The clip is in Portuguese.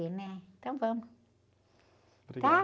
e, né? Então vamos.